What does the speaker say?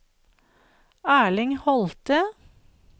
Erling Holthe